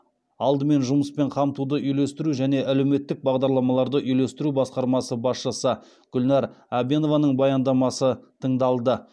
алдымен жұмыспен қамтуды үйлестіру және әлеуметтік бағдарламаларды үйлестіру басқармасы басшысы гүлнар әбенованың баяндамасы тыңдалды